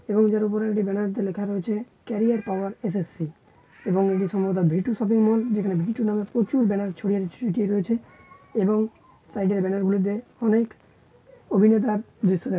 এবং যার ওপরে ব্যানার দিয়ে লেখা রয়েছে ক্যারিয়ার পাওয়ার এস.এস.সি. এবং এটি সম্ভবত ভি.টু শপিং মল যেখানে ভি.টু নামে প্রচুর ব্যানার ছড়িয়ে ছিটিয়ে রয়েছে এবং সাইড - এ ব্যানার গুলোতে অনেক অভিনেতার --